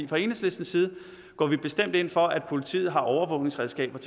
fra enhedslistens side går vi bestemt ind for at politiet har overvågningsredskaber